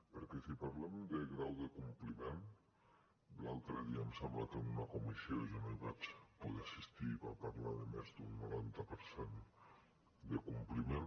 perquè si parlem de grau de compliment l’altre dia em sembla que en una comissió jo no hi vaig poder assistir van parlar de més d’un noranta per cent de compliment